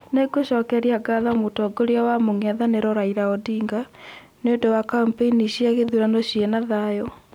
Nĩngucokeria ngatho mũtongoria wa mũng'ethanĩro Raila Odinga, nĩũndũ wa kampeini cĩa gĩthurano ciĩna thayũ